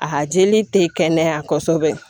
A jeli te kɛnɛya kɔsɛbɛ